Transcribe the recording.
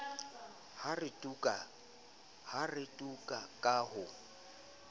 ha re tu ka ho